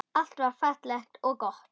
Allt var fallegt og gott.